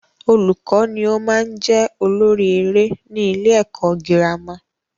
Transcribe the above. Olùkọ́ ni o maá n jẹ́ olórí eré ni ilé ẹ̀kọ́ girama